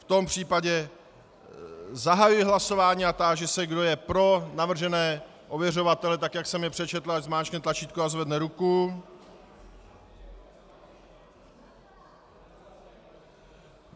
V tom případě zahajuji hlasování a táži se, kdo je pro navržené ověřovatele tak, jak jsem je přečetl, ať zmáčkne tlačítko a zvedne ruku.